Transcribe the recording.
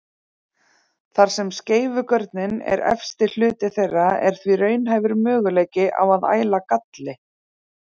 Þar sem skeifugörnin er efsti hluti þeirra er því raunhæfur möguleiki á að æla galli.